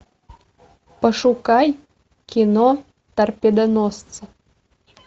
пошукай кино торпедоносцы